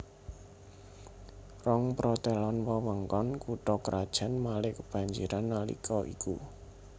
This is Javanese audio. Rongprotelon wewengkon kutha krajan Malé kebanjiran nalika iku